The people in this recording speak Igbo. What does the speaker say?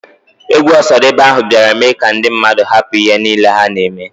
Egwu Osadebe ahụ biara mee ka ndi mmadụ hapụ ihe nile ha na emee.